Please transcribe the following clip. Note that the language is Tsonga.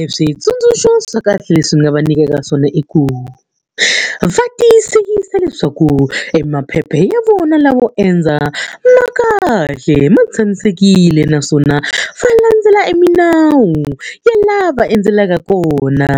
Eswitsundzuxo swa kahle leswi ni nga va nyikaka swona i ku, va tiyisisa leswaku emaphepha ya vona lawo endza ma kahle ma tshamisekile. Naswona va landzela emilawu ya laha va endzelaka kona,